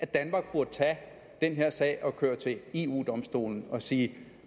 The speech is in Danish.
danmark burde tage den her sag og køre til eu domstolen med og sige